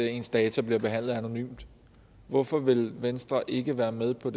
ens data bliver behandlet anonymt hvorfor vil venstre ikke være med på